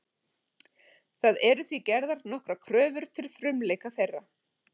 Það eru því gerðar nokkrar kröfur til frumleika þeirra.